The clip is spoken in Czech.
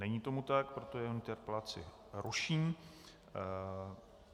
Není tomu tak, proto jeho interpelaci ruším.